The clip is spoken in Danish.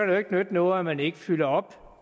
det jo ikke nytte noget at man ikke fylder op